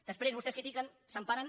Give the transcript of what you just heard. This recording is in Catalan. després vostès critiquen s’emparen